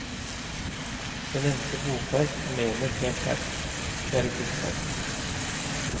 Det nevnte bokverk er mer enn et verk, det er et livsverk.